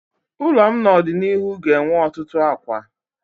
Ụlọ m n'ọdịnihu ga-enwe ọtụtụ akwa.